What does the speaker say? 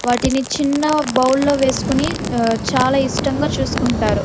వాటిని చిన్న బౌల్ లో వేసుకొని చాలా ఇష్టంగ చూసుకుంటారు.